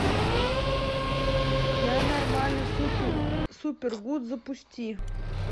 я нормально супер гуд запусти